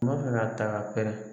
N'o bɛna ta ka pɛrɛ